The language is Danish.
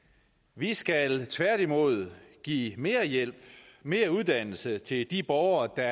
vi skal tværtimod give mere hjælp mere uddannelse til de borgere der